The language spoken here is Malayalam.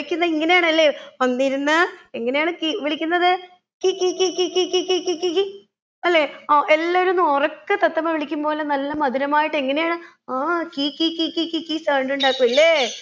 വെക്കുന്നെ ഇങ്ങനെയാണല്ലെ വന്നിരുന്ന് എങ്ങനെയാണ് കി വിളിക്കുന്നത് കി കി കി കി കി കി കി കി കി കി അല്ലെ ആ എല്ലാവരും ഒന്ന് ഉറക്കെ തത്തമ്മ വിളിക്കും പോലെ നല്ല മധുരമായിട്ടെങ്ങിനെയാണ് ആ കി കി കി കി കി കി sound ഉണ്ടാക്കുവല്ലേ